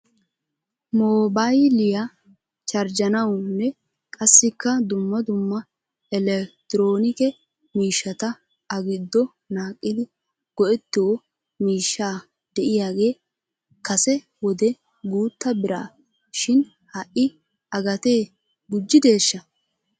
Moobayliyaa charjjanawnne qassikka dumma dumma eletroonike miishata a giddo naaqidi go'ettioo miishsha de'iyaagee kase wode guuta bira shin ha'i a gatee gujjideeshsha?